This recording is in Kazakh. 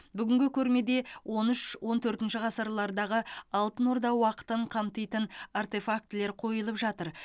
бүгінгі көрмеде он үш он төртінші ғасырлардағы алтын орда уақытын қамтитын артефактілер қойылып жатыр